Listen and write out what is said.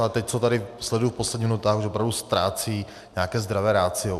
Ale teď, co tady sleduji v posledních minutách, už opravdu ztrácí nějaké zdravé ratio.